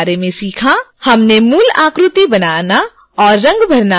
हमने मूल आकृतियाँ बनाना और रंग भरना भी सीखा